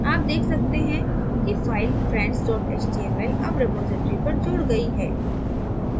आप देख सकते हैं कि file friends html अब रिपॉज़िटरी पर जुड़ गयी है